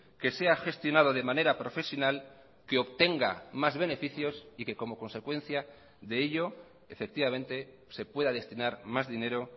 que sea gestionado de manera profesional que obtenga más beneficios y que como consecuencia de ello efectivamente se pueda destinar más dinero